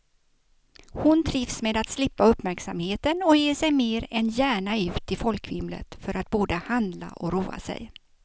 Hon trivs med att slippa uppmärksamheten och ger sig mer än gärna ut i folkvimlet för att både handla och roa sig.